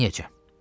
Neyləyəcəm?